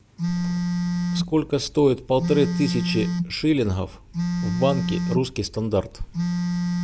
сколько стоит полторы тысячи шиллингов в банке русский стандарт